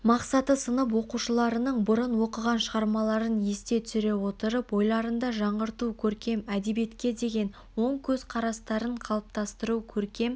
мақсаты сынып оқушыларының бұрын оқыған шығармаларын есте түсіре отырып ойларында жаңғырту көркем әдебиетке деген оң көзқарастарын қалыптастыру көркем